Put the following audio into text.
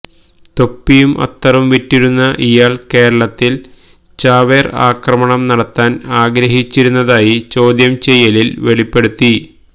തൊപ്പിയും അത്തറും വിറ്റിരുന്ന ഇയാൾ കേരളത്തിൽ ചാവേർ ആക്രമണം നടത്താൻ ആഗ്രഹിച്ചിരുന്നതായി ചോദ്യം ചെയ്യലിൽ വെളിപ്പെടുത്തി